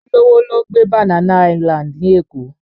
Olówó ló ń gbé Banana Island ní Èkó